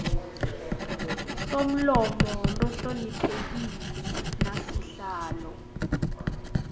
somlomo lohloniphekile nasihlalo